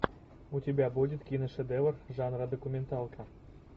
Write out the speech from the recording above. у тебя будет киношедевр жанра документалка